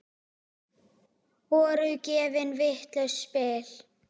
Voru gefin vitlaus spil?